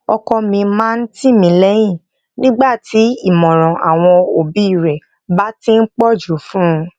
ọkọ mi máa ń tì mí léyìn nígbà tí ìmòràn awon obi re ba ti n pòjù fun un